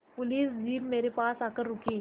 police jeep मेरे पास आकर रुकी